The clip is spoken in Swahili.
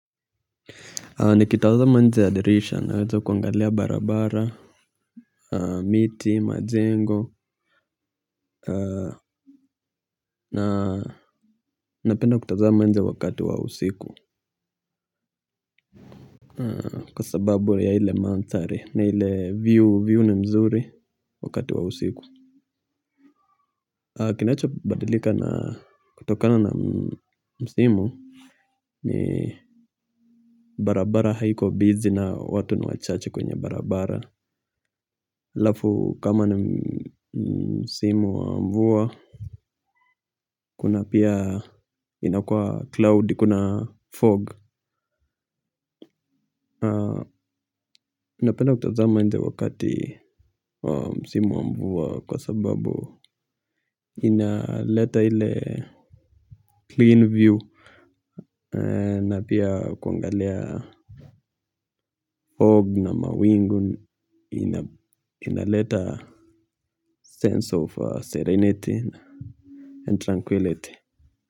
Nikitawaza nje ya dirisha nawezo kuangalia barabara. Miti majengo na napenda kutaza nje wakati wa usiku. Kwa sababu ya hile manthari na ile view view ni mzuri wakati wa usiku. Kinacho badilika na kutokana na msimu. Ni barabara haiko bizi na watu ni wachache kwenye barabara. Lafu kama ni msimu wa mvua. Kuna pia inakua cloudy, kuna fog. Na penda kutazama inje wakati msimu wa mvua. Kwa sababu inaleta ile clean view. Na pia kwangalia fog na mawingu. Inaleta sense of serenity and tranquility.